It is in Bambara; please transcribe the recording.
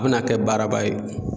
A bɛna kɛ baaraba ye